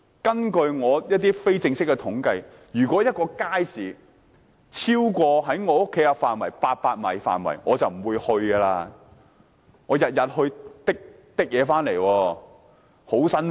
根據我非正式的統計，如果一個街市距離家居超過800米，居民便不會前往，因為每天提着餸菜返家是很辛苦的。